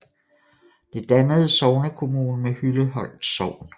Det dannede sognekommune med Hylleholt Sogn